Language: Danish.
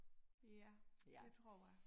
Ja det tror jeg